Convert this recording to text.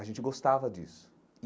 A gente gostava disso.